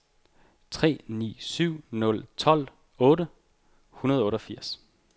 tre ni syv nul tolv otte hundrede og otteogfirs